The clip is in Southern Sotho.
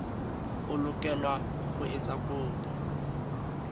o lokela ho etsa kopo